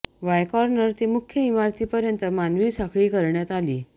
Y corner ते मुख्य इमारतीपर्यंत मानवी साखळी करण्यात आली